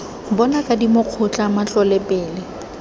bona kadimo kgotla matlole pele